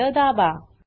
Enter दाबा